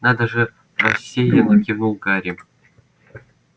надо же рассеянно кивнул гарри